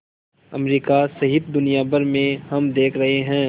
America सहित दुनिया भर में हम देख रहे हैं